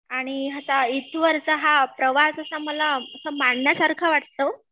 आणि असा हा इथवरचा हा प्रवास असा मला असा मांडण्यासारखा वाटतो